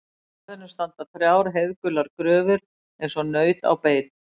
Í garðinum standa þrjár heiðgular gröfur eins og naut á beit.